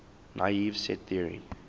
naive set theory